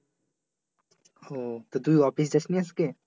হম তুই office যাসনি আজকে?